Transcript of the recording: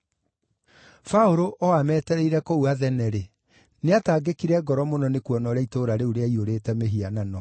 Paũlũ o ametereire kũu Athene-rĩ, nĩatangĩkire ngoro mũno nĩkuona ũrĩa itũũra rĩu rĩaiyũrĩte mĩhianano.